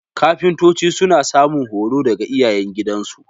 Kafintoci suna samun horo daga iyayengidansu